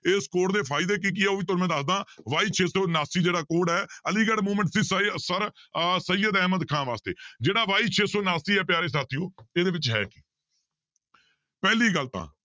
ਇਸ code ਦੇ ਫ਼ਾਇਦੇ ਕੀ ਕੀ ਆ ਉਹ ਵੀ ਮੈਂ ਤੁਹਾਨੂੰ ਦੱਸਦਾਂਂ y ਛੇ ਸੌ ਉਣਾਸੀ ਜਿਹੜਾ code ਹੈ ਅਲੀਗੜ੍ਹ sir ਅਹ ਸਯੀਅਦ ਅਹਿਮਦ ਖ਼ਾਨ ਵਾਸਤੇ ਜਿਹੜਾ y ਛੇ ਸੌ ਉਣਾਸੀ ਹੈ ਪਿਆਰੇ ਸਾਥੀਓ ਇਹਦੇ ਵਿੱਚ ਹੈ ਕੀ ਪਹਿਲੀ ਗੱਲ ਤਾਂ